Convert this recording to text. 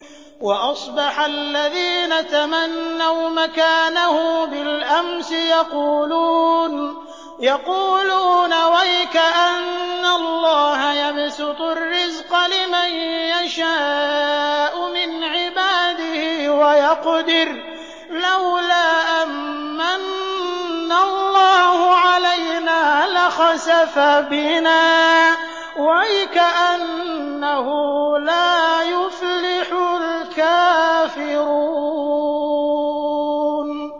وَأَصْبَحَ الَّذِينَ تَمَنَّوْا مَكَانَهُ بِالْأَمْسِ يَقُولُونَ وَيْكَأَنَّ اللَّهَ يَبْسُطُ الرِّزْقَ لِمَن يَشَاءُ مِنْ عِبَادِهِ وَيَقْدِرُ ۖ لَوْلَا أَن مَّنَّ اللَّهُ عَلَيْنَا لَخَسَفَ بِنَا ۖ وَيْكَأَنَّهُ لَا يُفْلِحُ الْكَافِرُونَ